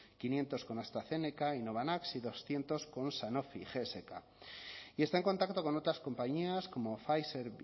quinientos con astrazeneca y novavax y doscientos con sanofi y gsk y está en contacto con otras compañías como pfizer